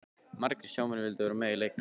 Margir sjómenn vildu vera með í leiknum.